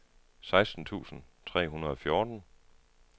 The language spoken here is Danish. seksten tusind tre hundrede og fjorten